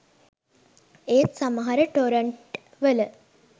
ඒත් සමහර ටොරන්ට් වල